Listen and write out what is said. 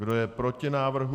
Kdo je proti návrhu?